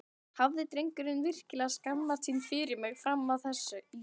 Hafði drengurinn virkilega skammast sín fyrir mig fram að þessu?